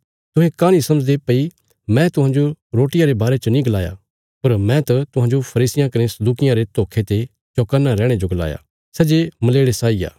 तुहें काँह नीं समझदे भई मैं तुहांजो रोटियां रे बारे च नीं गलाया पर मैं त तुहांजो फरीसियां कने सदूकियां रे धोखे ते चौकन्ना रैहणे जो गलाया था सै जे मलेड़े साई आ